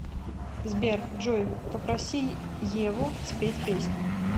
сбер джой попроси еву спеть песню